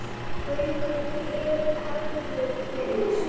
Haukur hefðu veikst.